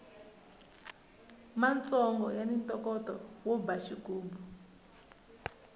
matsongo yani ntokoto wo ba xigubu